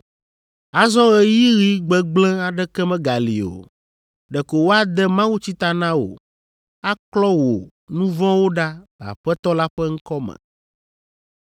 Azɔ ɣeyiɣigbegblẽ aɖeke megali o. Ɖeko woade mawutsi ta na wò, aklɔ wò nu vɔ̃wo ɖa le Aƒetɔ la ƒe ŋkɔ me.’